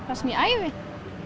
það sem ég æfi